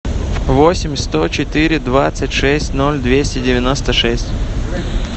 восемь сто четыре двадцать шесть ноль двести девяносто шесть